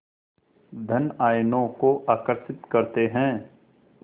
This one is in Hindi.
धन आयनों को आकर्षित करते हैं